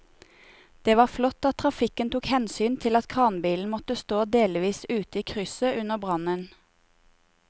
Det var flott at trafikken tok hensyn til at kranbilen måtte stå delvis ute i krysset under brannen.